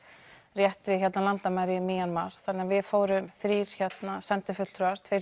rétt við landamæri mar þannig við fórum þrír sendifulltrúar tveir